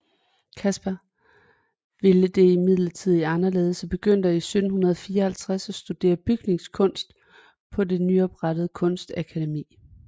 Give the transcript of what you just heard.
Caspar ville det imidlertid anderledes og begyndte i 1754 at studere bygningskunst på det nyoprettede Kunstakademi